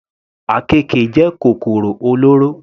Àkekè jẹ́ kòkòrò olóró.